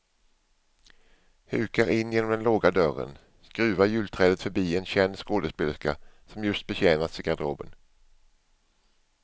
Hukar in genom den låga dörren, skruvar julträdet förbi en känd skådespelerska som just betjänas i garderoben.